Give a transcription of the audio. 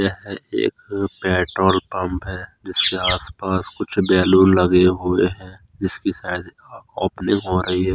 यह एक petrol pump है जिसके आस पास कुछ बैलून लगे हुए है जिसकी शयद ओपनिंग हो रही है।